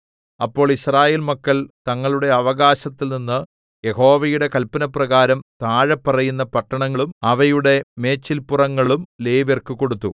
അപ്പോൾ യിസ്രായേൽ മക്കൾ തങ്ങളുടെ അവകാശത്തിൽനിന്ന് യഹോവയുടെ കല്പനപ്രകാരം താഴെപ്പറയുന്ന പട്ടണങ്ങളും അവയുടെ മേച്ചിൽപ്പുറങ്ങളും ലേവ്യർക്കു കൊടുത്തു